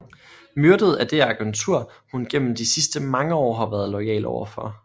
Myrdet af det agentur hun gennem de sidste mange år har været loyal overfor